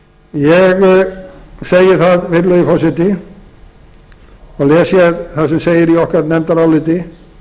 segi það virðulegi forseti og les hér það sem segir í okkar nefndaráliti